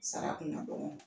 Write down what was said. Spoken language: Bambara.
Sara kun ka dɔgɔn.